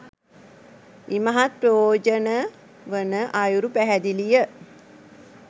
ඉමහත් ප්‍රයෝජන වන අයුරු පැහැදිලිය